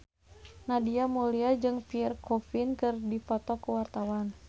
Nadia Mulya jeung Pierre Coffin keur dipoto ku wartawan